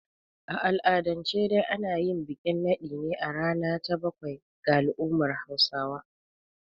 A al'adance dai ana yin bikin naɗin ne a rana ta bakwai ga al'ummar Hausawa.